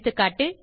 எகா